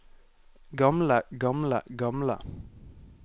gamle gamle gamle